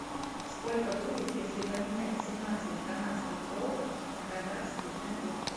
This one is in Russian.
сколько будет если поменять семнадцать канадских долларов на казахский тенге